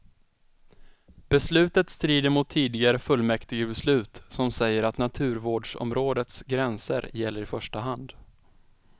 Beslutet strider mot tidigare fullmäktigebeslut som säger att naturvårdsområdets gränser gäller i första hand.